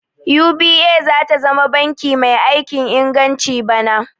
UBA zata zama banki mai aikin inganci bana